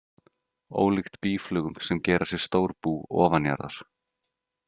Ólíkt býflugum sem gera sér stór bú ofanjarðar.